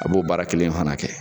a b'o baara kelen fana kɛ.